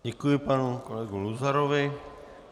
Děkuji panu kolegu Luzarovi.